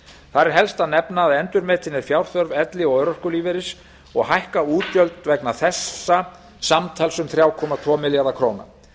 þar er helst að nefna að endurmetin er fjárþörf elli og örorkulífeyris og hækka útgjöld vegna þessa samtals um þrjú komma tvo milljarða króna